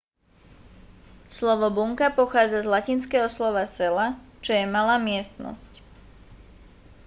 slovo bunka pochádza z latinského slova cella čo je malá miestnosť